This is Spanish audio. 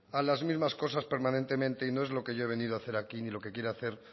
a las mismas cosas permanentemente y no es lo que yo he venido a hacer aquí ni lo que quiere hacer